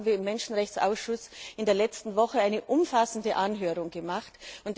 Dazu haben wir im Menschenrechtsausschuss in der letzten Woche eine umfassende Anhörung abgehalten.